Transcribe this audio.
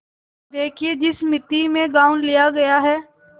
देखिए जिस मिती में गॉँव लिया गया है